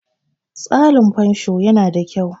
tsarin fansho yana da kyau